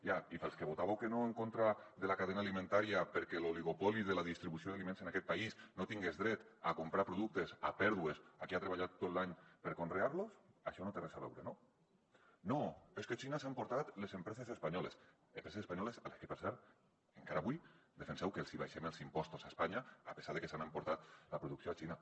ja i pels que votàveu que no en contra de la cadena alimentària perquè l’oligopoli de la distribució d’aliments en aquest país no tingués dret a comprar productes a pèrdues a qui ha treballat tot l’any per conrear los això no hi té res a veure no no és que xina s’ha emportat les empreses espanyoles empreses espanyoles a les que per cert encara avui defenseu que els hi abaixem els impostos a espanya a pesar de que s’han emportat la producció a xina